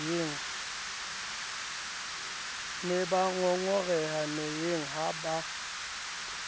ne bangongoreha meyeng ha ba